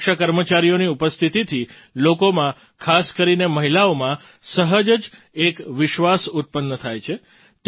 મહિલા સુરક્ષા કર્મચારીઓની ઉપસ્થિતિથી લોકોમાં ખાસ કરીને મહિલાઓમાં સહજ જ એક વિશ્વાસ ઉત્પન્ન થાય છે